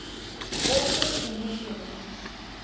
orphan initialisms